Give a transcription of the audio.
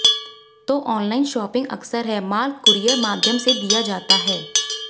तो online shopping अक्सर है माल कूरियर माध्यम से दिया जाता है